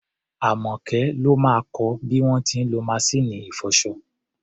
Àmọ́kẹ́ ló máa kọ bí wọ́n ti ń lọ maṣíìnì ìfọṣọ.